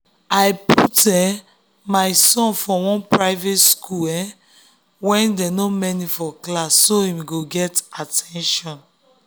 i put um my son for one priate school um wey dem no many for class so him go get at ten tion